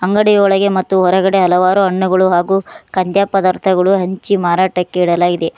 ಅಂಗಡಿ ಒಳಗೆ ಮತ್ತು ಹೊರಗಡೆ ಹಲವಾರು ಹಣ್ಣುಗಳು ಹಾಗು ಕಂದ್ಯಾ ಪದಾರ್ಥಗಳು ಹಂಚಿ ಮಾರಾಟಕ್ಕೆ ಇಡಲಾಗಿದೆ.